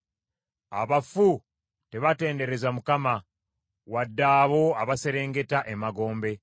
Abafu tebatendereza Mukama , wadde abo abaserengeta emagombe.